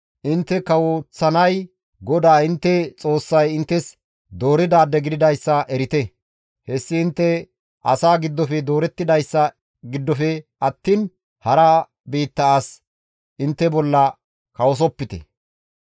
intte kawoththanay GODAA intte Xoossay inttes dooridaade gididayssa erite; hessi intte asaa giddofe doorettidayssa giddofe attiin hara biitta as intte bolla kawosopite.